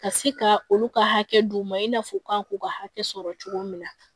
Ka se ka olu ka hakɛ d'u ma i n'a fɔ u kan k'u ka hakɛ sɔrɔ cogo min na